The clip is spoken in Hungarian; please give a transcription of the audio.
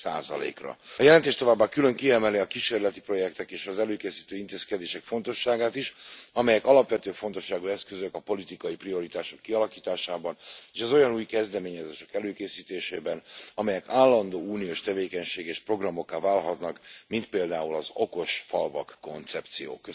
A jelentés továbbá külön kiemeli a kísérleti projektek és az előkészítő intézkedések fontosságát is, amelyek alapvető fontosságú eszközök a politikai prioritások kialakításában, és az olyan új kezdeményezések előkészítésében, amelyek állandó uniós tevékenységgé és programokká válhatnak, mint például az okos falvak koncepció.